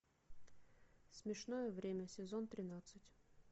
смешное время сезон тринадцать